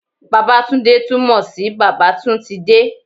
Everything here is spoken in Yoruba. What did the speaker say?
Babatunde tún mo sí bàbá tún ti de